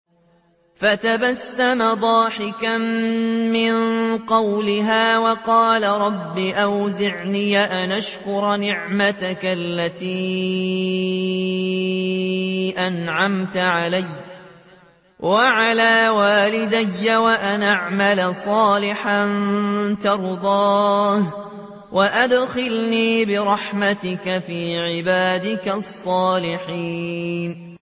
فَتَبَسَّمَ ضَاحِكًا مِّن قَوْلِهَا وَقَالَ رَبِّ أَوْزِعْنِي أَنْ أَشْكُرَ نِعْمَتَكَ الَّتِي أَنْعَمْتَ عَلَيَّ وَعَلَىٰ وَالِدَيَّ وَأَنْ أَعْمَلَ صَالِحًا تَرْضَاهُ وَأَدْخِلْنِي بِرَحْمَتِكَ فِي عِبَادِكَ الصَّالِحِينَ